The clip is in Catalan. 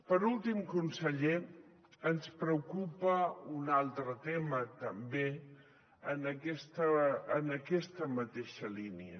per últim conseller ens preocupa un altre tema també en aquesta mateixa línia